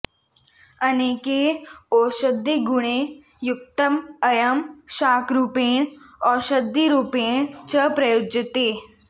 अनेकैः औषधिगुणैः युक्तः अयं शाकरूपेण औषधिरुपेण च प्रयुज्यते